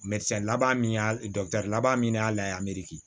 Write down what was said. laban min y'a laban min y'a la